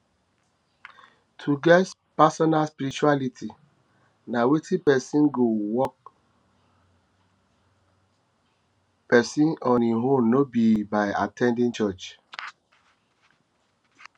to get personal spirituality na wetin person go work person go work on in own no be by at ten ding church